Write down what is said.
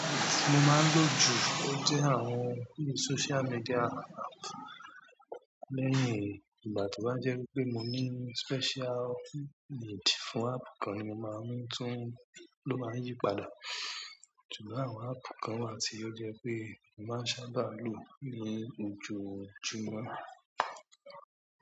Mo máa ń lò ju òtítọ́ àwọn sócial media àpp lẹ́yìn ìgbà tó bá jẹ́ wípé mo ní special need fún àpp kan ni mo máa ń tún ló máa ń yí padà. Ṣùgbọ́n àwọn àpp kan wà tí ó jẹ́ pé mo máa sábà lò ní ojoojúmọ́.